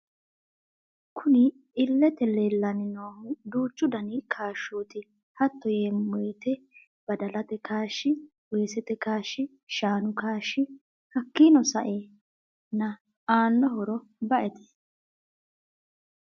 Kunni iilete leellani noohu duuchu Dani kaashshoti hatto yeemo woyite baddalate kaashshi, weesete kaashshi, shaanu kaashshi. Hakiino sa'eena aano horro ba'ete.